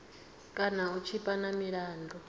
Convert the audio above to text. kana u tshipa na milandu